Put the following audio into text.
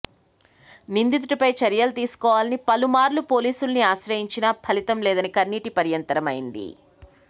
నిందితుడిపై చర్యలు తీసుకోవాలని పలుమార్లు పోలీసుల్ని ఆశ్రయించినా ఫలితం లేదని కన్నీటిపర్యంతమైంది